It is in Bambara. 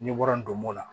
N'i bɔra ndomo la